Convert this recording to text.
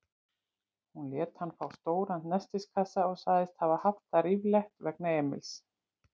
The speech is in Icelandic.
Hún lét hann fá stóran nestiskassa og sagðist hafa haft það ríflegt vegna Emils.